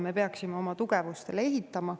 Me peaksime oma tugevusi arvestama.